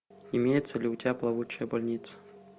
имеется ли у тебя плавучая больница